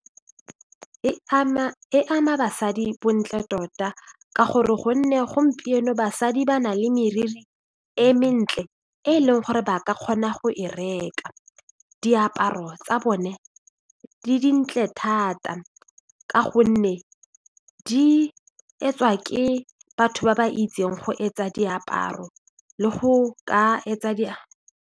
E ama basadi bontle tota ka gore gonne gompieno basadi ba na le moriri e mentle e e leng gore ba ka kgona go e reka daparo tsa bone di dintle thata ka gonne di etsoa ke batho ba ba itseng go etsa diaparo le go ka etsa .